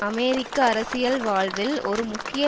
அமெரிக்க அரசியல் வாழ்வில் ஒரு முக்கிய